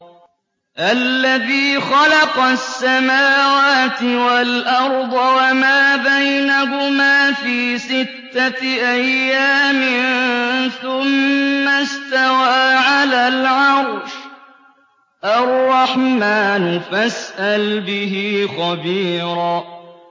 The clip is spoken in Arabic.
الَّذِي خَلَقَ السَّمَاوَاتِ وَالْأَرْضَ وَمَا بَيْنَهُمَا فِي سِتَّةِ أَيَّامٍ ثُمَّ اسْتَوَىٰ عَلَى الْعَرْشِ ۚ الرَّحْمَٰنُ فَاسْأَلْ بِهِ خَبِيرًا